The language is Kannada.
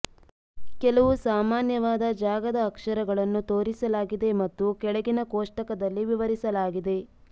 ಕೆಲವು ಸಾಮಾನ್ಯವಾದ ಜಾಗದ ಅಕ್ಷರಗಳನ್ನು ತೋರಿಸಲಾಗಿದೆ ಮತ್ತು ಕೆಳಗಿನ ಕೋಷ್ಟಕದಲ್ಲಿ ವಿವರಿಸಲಾಗಿದೆ